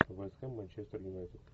вест хэм манчестер юнайтед